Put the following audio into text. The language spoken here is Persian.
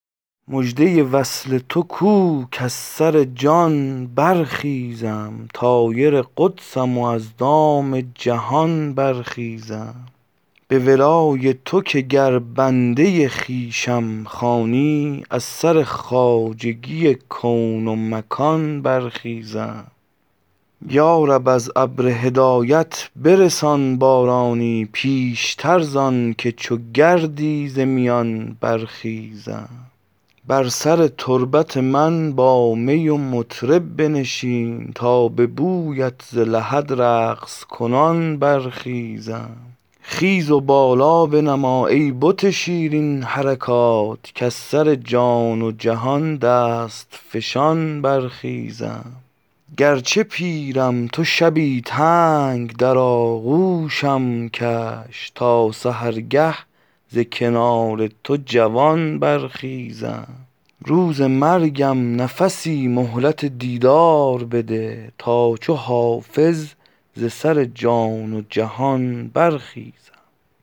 مژده وصل تو کو کز سر جان برخیزم طایر قدسم و از دام جهان برخیزم به ولای تو که گر بنده خویشم خوانی از سر خواجگی کون و مکان برخیزم یا رب از ابر هدایت برسان بارانی پیشتر زان که چو گردی ز میان برخیزم بر سر تربت من با می و مطرب بنشین تا به بویت ز لحد رقص کنان برخیزم خیز و بالا بنما ای بت شیرین حرکات کز سر جان و جهان دست فشان برخیزم گرچه پیرم تو شبی تنگ در آغوشم کش تا سحرگه ز کنار تو جوان برخیزم روز مرگم نفسی مهلت دیدار بده تا چو حافظ ز سر جان و جهان برخیزم